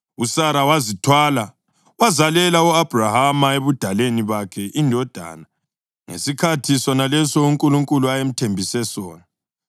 USara wazithwala wazalela u-Abhrahama ebudaleni bakhe indodana ngesikhathi sonaleso uNkulunkulu ayemthembise sona.